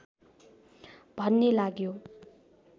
भन्ने लाग्यो